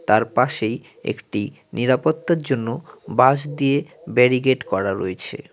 তার পাশেই একটি নিরাপত্তার জন্য বাঁশ দিয়ে ব্যারিকেড করা রয়েছে।